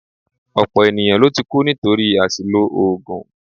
Ọ̀pọ̀ ènìyàn ló ti kú nítorí àṣìlò oògùn